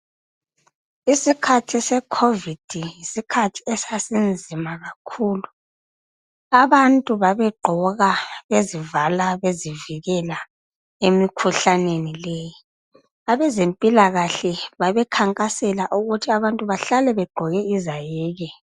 Isikhathi sekhovidi yisikhathi esasinzima kakhulu. Abantu babegqoka bezivala bezivikela emikhuhlaneni leyi. Abezempilakahle babekhankasela ukuthi abantu bahlale begqoke izayeke.